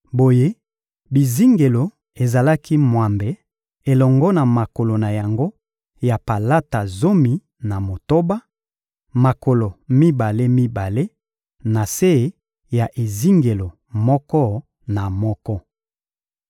Boye, bizingelo ezalaki mwambe elongo na makolo na yango ya palata zomi na motoba: makolo mibale-mibale na se ya ezingelo moko na moko.